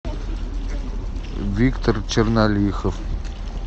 виктор чернолихов